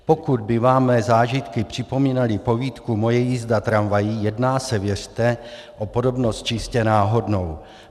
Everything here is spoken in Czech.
Pokud by vám mé zážitky připomínaly povídku Moje jízda tramvají, jedná se, věřte, o podobnost čistě náhodnou.